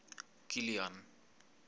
kilian